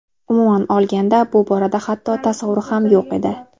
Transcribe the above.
Umuman olganda bu borada hatto tasavvur ham yo‘q edi.